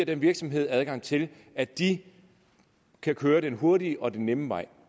den virksomhed adgang til at de kan køre den hurtige og nemme vej